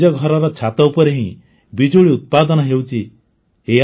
ଘରର ଛାତ ଉପରେ ହିଁ ବିଜୁଳି ଉତ୍ପାଦନ ହେଉଛି ନୁହେଁ